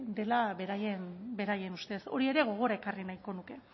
dela beraien ustez hori ere gogora ekarri nahiko nuke